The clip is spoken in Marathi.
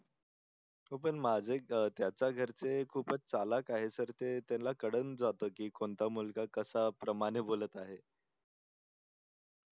हो पण माझ्या त्याच्या घरचे खूप च चालक आहे sir ते त्याला कळून जात कोणता मुलगा कश्या प्रमाणे बोलत आहे